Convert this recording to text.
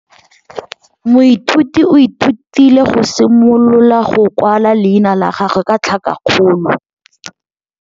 Moithuti o ithutile go simolola go kwala leina la gagwe ka tlhakakgolo.